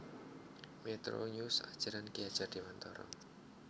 Metronews Ajaran Ki Hajar Dewantara